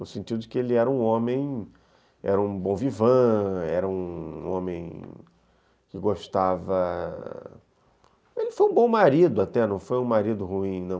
no sentido de que ele era um homem, era um bon vivant, era um homem que gostava... Ele foi um bom marido até, não foi um marido ruim, não.